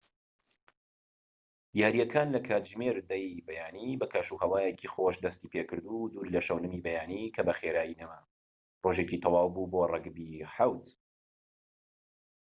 یارییەکان لە کاتژمێر 10:00ی بەیانی بە کەشوهەوایەکی خۆش دەستی پێکرد و دوور لە شەونمی بەیانی کە بە خێرایی نەما، ڕۆژێکی تەواو بوو بۆ ڕەگبی 7‏‎